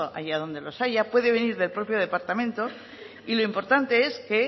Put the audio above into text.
allá donde los haya puede venir del propio departamento y lo importante es que